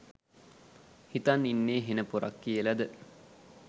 හිතන් ඉන්නේ හෙන පොරක් කියලද?